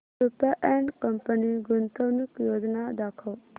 Rupa and company गुंतवणूक योजना दाखव